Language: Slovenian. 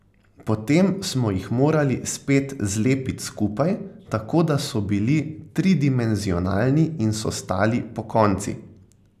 Potem smo jih morali spet zlepit skupaj, tako da so bili tridimenzionalni in so stali pokonci.